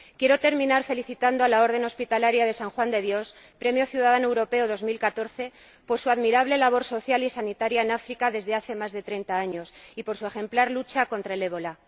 Quiero terminar felicitando a la Orden Hospitalaria de San Juan de Dios, Premio Ciudadano Europeo 2014, por su admirable labor social y sanitaria en África desde hace más de treinta años y por su ejemplar lucha contra el ébola.